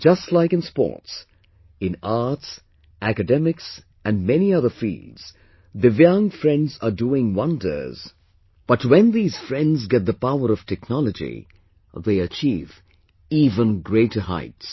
Just like in sports, in arts, academics and many other fields, Divyang friends are doing wonders, but when these friends get the power of technology, they achieve even greater heights